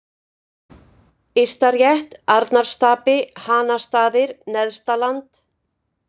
Ystarétt, Arnarstapi, Hanastaðir, Neðstaland